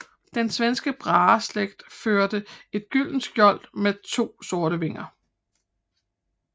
Den svenske Braheslægt førte et gyldent skjold med to sorte vinger